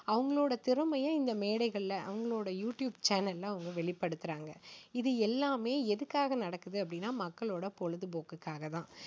அவங்களோட திறமையை இந்த மேடைகளில அவங்களோட யூ டியூப் சேனலில வெளிப்படுத்துறாங்க. இது எல்லாமே எதுக்காக நடக்குது அப்படின்னா மக்களோட பொழுதுபோக்குக்காக தான்.